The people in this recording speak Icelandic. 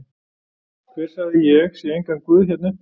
Hver sagði ég sé engan guð hérna uppi?